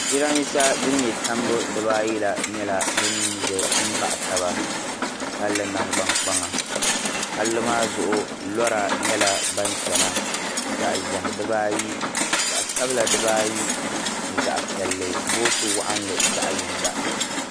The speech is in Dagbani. Jarambiisa din nye tambu dibaa ayi la nyɛla din zaya m-baɣ' taba palli nangbankpaŋa palli maa zuɣu lɔra nyɛla ban chana zaɣ'ʒɛhi dibaa ayi zaɣ'sabila dibaa ayi ni zaɣ'piɛlli boosi waɣinli zaɣ'yinga.